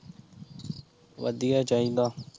ਵਧੀਆ ਈ ਚਾਹੀਦਾ